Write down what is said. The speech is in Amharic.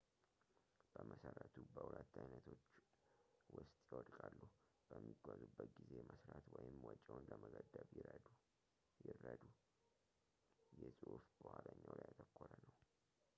በመሠረቱ በሁለት ዓይነቶች ውስጥ ይወድቃሉ፡- በሚጓዙበት ጊዜ መሥራት ወይም ወጪዎን ለመገደብ ይረዱ። ይህ ጽሑፍ በኋለኛው ላይ ያተኮረ ነው